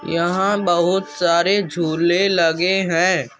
यंहा बहुत सारे झूले लगे है ।